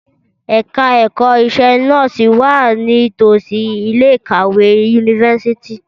Ẹ̀ka ẹ̀kọ́ iṣẹ́ nọ́ọ̀sì wà ní tòsí ilé ìkàwé yunifásítì